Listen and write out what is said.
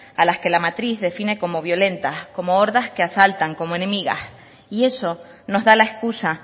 a las que la matriz define como violentas como hordas que asaltan como enemigas y eso nos da la excusa